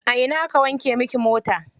A ina aka wanke miki mota?